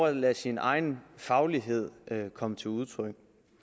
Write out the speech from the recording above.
at lade sin faglighed komme til udtryk